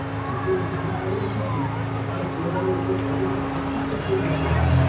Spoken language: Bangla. বেতন বৃদ্ধির কারণে কিন্তু আপনার পরিবারের উপর অযথা আর্থিক চাপ তৈরি হতে পারে।